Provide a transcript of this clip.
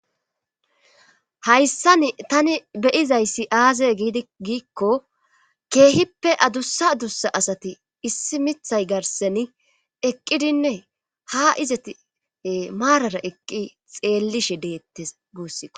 hayssan tani be'izayssi aaze giidi giikko keehippe adussa adussa asati issi mithay garseni eqqidinne ha izati maarara eqqi xeellishe deettes guussikko